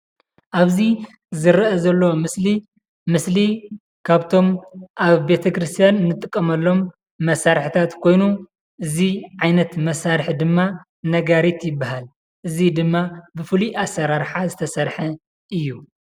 ኣብዚ ዝረኣ ዘሎ ምስሊ ምስሊ ካብቶም ኣብ ቤተክርስትያን እንጥቀመሎም መሳሪሒታት ኮይኑ እዚ ዓይነት መሳሪሒ ድማ ነጋሪት ይበሃል። እዙይ ድማ ብፍሉይ ኣሰራርሓ ዝተሰረሐ እዩ።